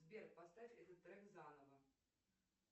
сбер поставь этот трек заново